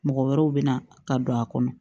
Mɔgɔ wɛrɛw bɛna ka don a kɔnɔ